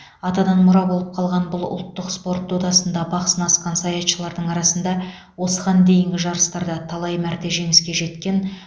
атадан мұра болып қалған бұл ұлттық спорт додасында бақ сынасқан саятшылардың арасында осыған дейінгі жарыстарда талай мәрте жеңіске жеткен